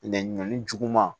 Nɛ ɲɔnni juguman